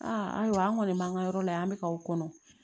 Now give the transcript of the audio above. Aa ayiwa an kɔni b'an ka yɔrɔ la yan an bɛ ka o kɔnɔ